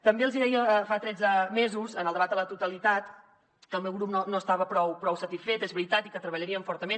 també els hi deia fa tretze mesos en el debat a la totalitat que el meu grup no estava prou satisfet és veritat i que hi treballaríem fortament